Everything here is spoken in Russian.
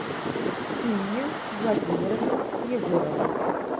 инне владимировне егоровой